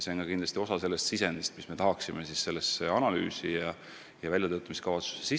See on kindlasti osa sellest sisendist, mida me arvestame seda analüüsi ja väljatöötamiskavatsust tehes.